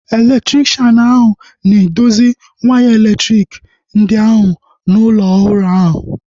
Elektrikshan ahu na-edozi waya elektriki ndị ahu n'ụlọ ọhụrụ ahu